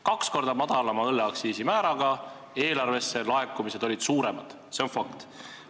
Kaks korda madalama õlleaktsiisi määra korral olid eelarvesse laekumised suuremad – see on fakt.